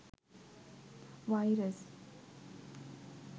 virus